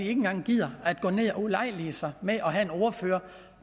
engang gider at ulejlige sig med at have en ordfører